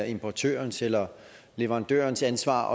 importørens eller leverandørens ansvar